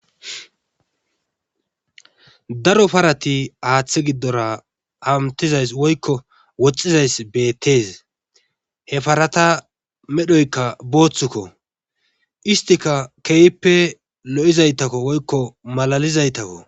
Daro parati haatha giddora hamettizays woykko woxxizays beettees he parata medhoyka boothuko iattika lo7izayta woykko malaalizaytako.